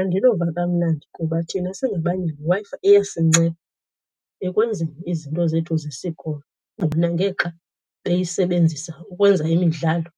Andinova kamnandi kuba thina singabanye le Wi-Fi iyasinceda ekwenzeni izinto zethu zesikolo bona ngexa beyisebenzisa ukwenza imidlalo